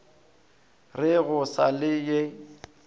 re go sa le ye